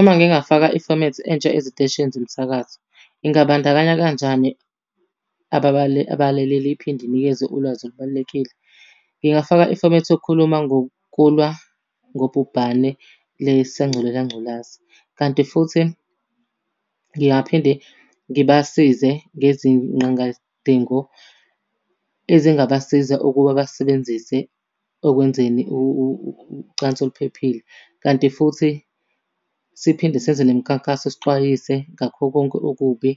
Uma ngingafaka ifomethi entsha eziteshini zomsakazo, ingabandakanya kanjani abalaleli iphinde inikeze ulwazi olubalulekile? Ngingafaka ifomethi yokukhuluma ngokulwa ngobhubhane le sanculela ngculazi. Kanti futhi ngingaphinde ngibasize ngezinqangasdingo ezingabasiza ukuba basebenzise ekwenzeni ucansi oluphephile. Kanti futhi siphinde senze nemikhankaso sixwayise ngakho konke okubi,